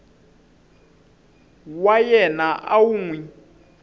wa yena u n wi